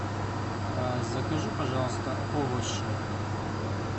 закажи пожалуйста овощи